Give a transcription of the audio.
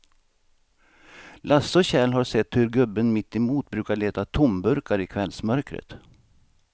Lasse och Kjell har sett hur gubben mittemot brukar leta tomburkar i kvällsmörkret.